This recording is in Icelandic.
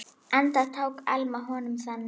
Enda tók Alma honum þannig.